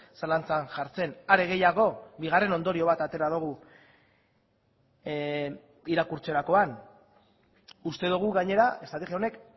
zalantzan jartzen are gehiago bigarren ondorio bat atera dugu irakurtzerakoan uste dugu gainera estrategia honek